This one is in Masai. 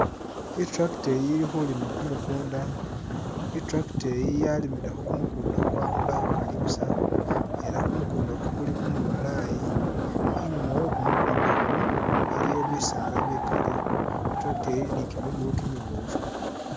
I’tractor iyi ili kuulima kumukunda i’tractor iyi yalimilekho kumukunda ku akhundu akhukali busa ela kumukunda ku kuli kumubalayi , inyuma we’kumukundaku iliyo bisala bikali i’tractor iyi ili ni kimiguwu kimibofu.